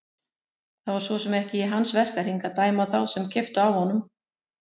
Það var svo sem ekki í hans verkahring að dæma þá sem keyptu af honum.